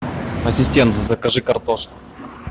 ассистент закажи картошку